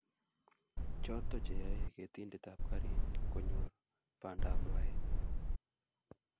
Choto cheyaei ketindetap garit konyor bandap rwaet